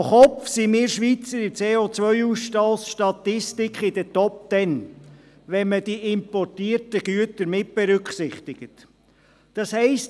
Pro Kopf sind wir Schweizer in der CO-Ausstoss-Statistik unter den Top Ten, wenn die importierten Güter mitberücksichtigt werden.